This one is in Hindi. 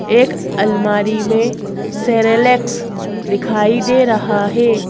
एक अलमारी में सेरेलेक्स दिखाई दे रहा है।